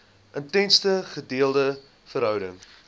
intense gedeelde verhouding